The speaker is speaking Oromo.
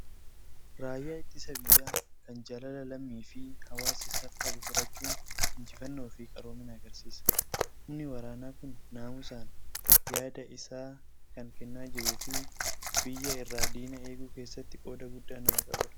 Raayyaa ittisa biyyaa kan jaalala lammii fi hawaasa isaaf qabu horachuun injifannoo fi qaroomina agarsiisa. Humni waraanaa kun naamusaan yaada isaa kan kennaa jiruu fi biyya irraa diina eeguu keessatti qooda guddaa nama qabudha.